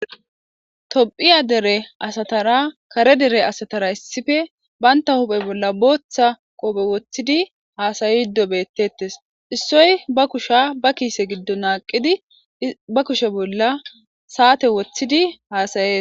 Tophiya dere asatara kare dere asatara issife bantta huphe bolla booththa qoophe woththidi haasayido bettettes. Issoy ba kusha ba kiise giddo naaqqidi ba kushe bolla saate woththidi haasayee.